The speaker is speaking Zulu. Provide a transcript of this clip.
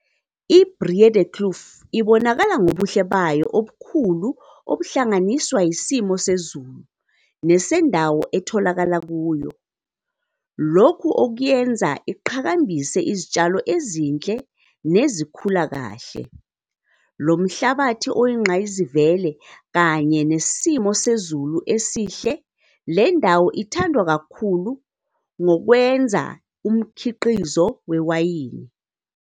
iBreedekloof ibonakala ngobuhle bayo obukhulu obuhlanganiswa isimo sezulu nesendawo etholakala kuyo, lokhu okuyenza iqhakambise izitshalo ezinhle nezikhula kahle. Lomhlabathi oyingqayizivele kanye nesimo sezulu esihle lendawo ithandwe kakhulu ngokwenza umkhiqizo wewayini.